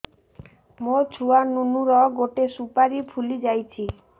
ମୋ ଛୁଆ ନୁନୁ ର ଗଟେ ସୁପାରୀ ଫୁଲି ଯାଇଛି